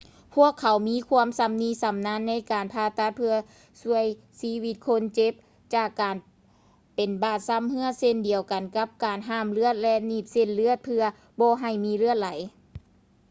ພວກເຂົາມີຄວາມຊຳນິຊຳນານໃນການຜ່າຕັດເພື່ອຊ່ວຍຊີວິດຄົນເຈັບຈາກການເປັນບາດຊຳເຮື້ອເຊັ່ນດຽວກັນກັບການຫ້າມເລືອດ ແລະ ໜີບເສັ້ນເລືອດເພື່ອບໍ່ໃຫ້ມີເລືອດໄຫຼ